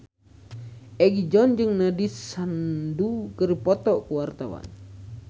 Egi John jeung Nandish Sandhu keur dipoto ku wartawan